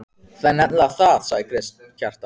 Það er nefnilega það, sagði Kjartan.